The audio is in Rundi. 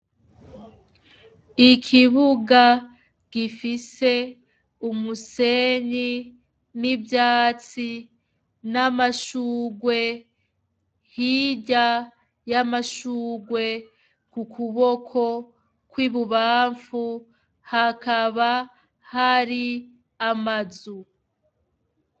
Ikibuga gifise umusenyi n'ivyatsi n'amashurwe, hirya y'amashurwe ku kuboko kw'ibubamfu hakaba hari amazu.